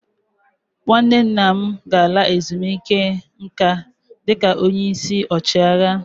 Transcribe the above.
Nwanne nna m ga-ala ezumike nka dịka onye isi ọchịagha.